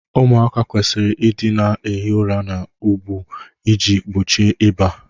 ụmụaka kwesịrị ịdị na-ehi ụra na ụgbụ iji gbochie ịba